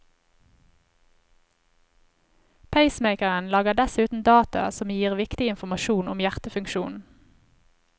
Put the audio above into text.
Pacemakeren lagrer dessuten data som gir viktig informasjon om hjertefunksjonen.